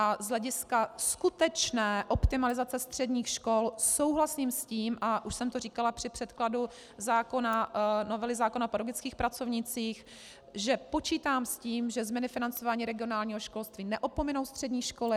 A z hlediska skutečné optimalizace středních škol souhlasím s tím, a už jsem to říkala při předkladu novely zákona o pedagogických pracovnících, že počítám s tím, že změny financování regionálního školství neopominou střední školy.